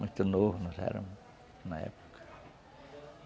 Muito novo nós éramos na época.